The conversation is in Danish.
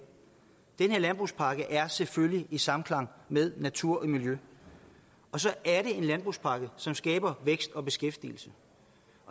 landbrugspakke er selvfølgelig i samklang med natur og miljø og så er det en landbrugspakke som skaber vækst og beskæftigelse